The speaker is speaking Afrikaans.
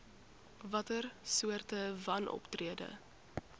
watter soorte wanoptrede